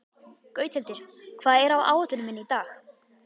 Gauthildur, hvað er á áætluninni minni í dag?